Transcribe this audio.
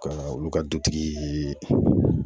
Ka olu ka dutigi ye